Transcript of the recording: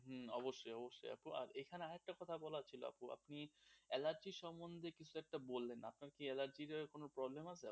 হুম অবশ্যই অবশ্যই আপু এখানে আর একটা কথা বলার ছিল আপু আপনি অ্যালার্জি সম্বন্ধে কিছু একটা বললেন, আপনার কি অ্যালার্জির কোনো problem আছে?